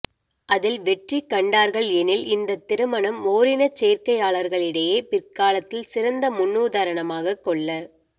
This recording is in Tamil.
அதில் வெற்றி கண்டார்கள் எனில் இந்தத் திருமணம் ஓரினச் சேர்க்கையாளர்களிடையே பிற்காலத்தில் சிறந்த முன்னுதாரணமாகக் கொள்ள